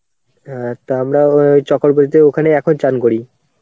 হ্যাঁ তা আমরা ওই চক্রবতীতে ওখানে এখন স্নান করি.